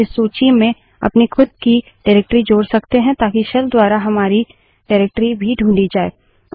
हम इस सूची में अपनी खुद की निर्देशिकाडाइरेक्टरी जोड़ सकते हैं ताकि शेल द्वारा हमारी निर्देशिका डाइरेक्टरी भी ढूँढी जाय